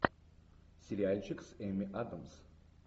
сериальчик с эми адамс